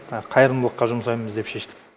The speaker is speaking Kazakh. қайырымдылыққа жұмсаймыз деп шештік